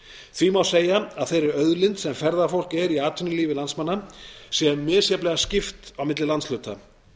því má segja að þeirri auðlind sem ferðafólk er í atvinnulífi landsmanna sé misjafnlega skipt milli landshluta